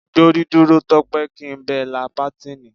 Gbórí dúró Tó̩pé̩! kí n be̩ la pátíìnì.